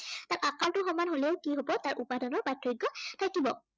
সেইটো সমান হলেও কি হব তাৰ উপাদানৰ প্ৰাৰ্থক্য় থাকিব।